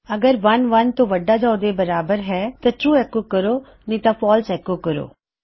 ਅਗਰ 1 1 ਤੋਂ ਵੱਡਾ ਜਾਂ ਉਸ ਦੇ ਬਰਾਬਰ ਹੈ ਤਾਂ ਟਰੂ ਐੱਕੋ ਕਰੋ ਨਹੀ ਤਾਂ ਫਾਲਸ ਐੱਕੋ ਕਰੋ